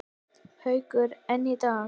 Haukur: En í dag?